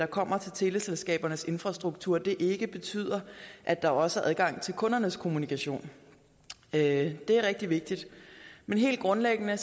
kommer til teleselskabernes infrastruktur ikke betyder at der også er adgang til kundernes kommunikation det er rigtig vigtigt men helt grundlæggende har